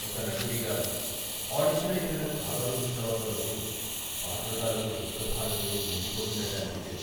ఒక నటుడిగా, ఆడిషన్ అయిపోయిన చాలా రోజుల తర్వాత వరకు పాత్ర తాలూకు దుఃఖ భారంతో వంగిపోతున్నట్టు అనిపించేది.